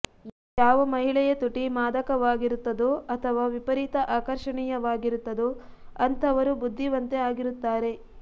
ಯಾವ ಮಹಿಳೆಯ ತುಟಿ ಮಾದಕವಾಗಿರುತ್ತದೋ ಅಥವಾ ವಿಪರೀತ ಆಕರ್ಷಣೀಯವಾಗಿರುತ್ತದೋ ಅಂಥವರು ಬುದ್ಧಿವಂತೆ ಆಗಿರುತ್ತಾರೆ